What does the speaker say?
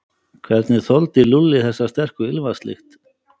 Hvernig þoldi Lúlli þessa sterku ilmvatnslykt.